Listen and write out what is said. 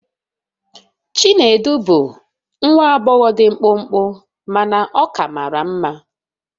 Chinedu bụ nwa agbọghọ dị mkpụmkpụ mana ọ ka mara mma.